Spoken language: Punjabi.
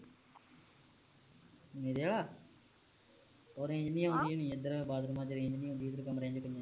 ਮੇਰੇ ਆਲਾ ਉਹ range ਨੀ ਆਉਦੀ ਹੋਣੀ ਇਧਰ ਬਾਥਰੂਮਾਂ ਵਿਚ range ਨੀ ਹੁੰਦੀ ਇਧਰ ਕਮਰਿਆਂ ਵਿਚ